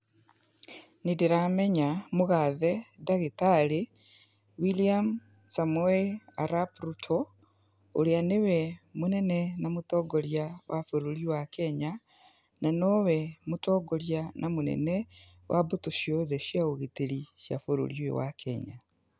Nĩndĩramenya mũgathe ndagĩtarĩ William Samoei Arap Ruto, ũrĩa nĩwe mũnene na mũtongoria wa bũrũri wa Kenya, na nowe mũtongoria mũnene wa mbũtũ ciothe cia ũgitĩri cia bũrũri ũyũ wa Kenya.